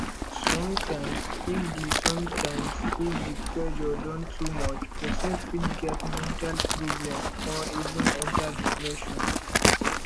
sometimes if di sometimes if di pressure don too much person fit get mental problem or even enter depression